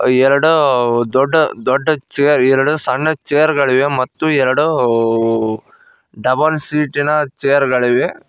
ಎರಡು ದೊಡ್ಡ ದೊಡ್ಡ ಚೇರ್ ಎರಡು ಸಣ್ಣ ಚೇರ್ಗಳಿವೆ ಮತ್ತು ಎರಡು ಡಬಲ್ ಸೀಟಿನ ಚೇರುಗಳಿವೆ.